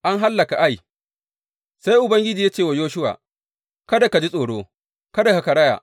An hallaka Ai Sai Ubangiji ya ce wa Yoshuwa, Kada ka ji tsoro; kada ka karaya.